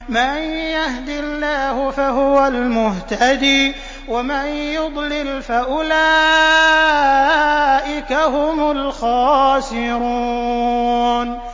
مَن يَهْدِ اللَّهُ فَهُوَ الْمُهْتَدِي ۖ وَمَن يُضْلِلْ فَأُولَٰئِكَ هُمُ الْخَاسِرُونَ